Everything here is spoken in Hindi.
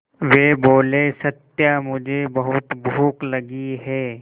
वे बोले सत्या मुझे बहुत भूख लगी है